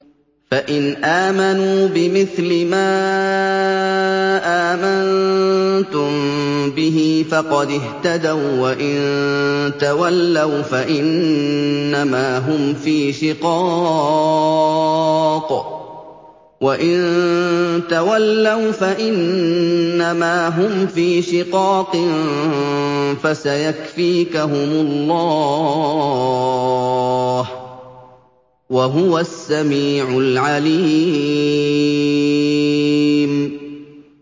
فَإِنْ آمَنُوا بِمِثْلِ مَا آمَنتُم بِهِ فَقَدِ اهْتَدَوا ۖ وَّإِن تَوَلَّوْا فَإِنَّمَا هُمْ فِي شِقَاقٍ ۖ فَسَيَكْفِيكَهُمُ اللَّهُ ۚ وَهُوَ السَّمِيعُ الْعَلِيمُ